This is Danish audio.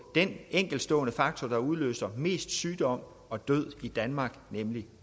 den enkeltstående faktor der udløser mest sygdom og død i danmark nemlig